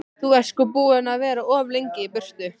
Þú ert sko búinn að vera of lengi í burtu.